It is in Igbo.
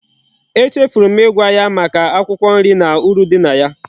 E chefuru m igwa ya Maka akwukwo nri na uru di na ya